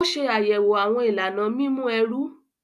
O ṣe ayẹwo awọn ìlànà mímú ẹru.